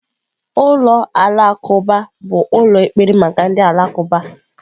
Ulọ Alakụba bụ ụlọ ekpere maka ndị Alakụba.